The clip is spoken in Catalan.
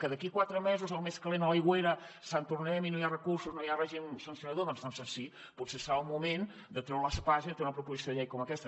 que d’aquí a quatre mesos el més calent a l’aigüera sant tornem hi no hi ha recursos no hi ha règim sancionador doncs sí potser serà el moment de treure l’espasa i de treure una proposició de llei com aquesta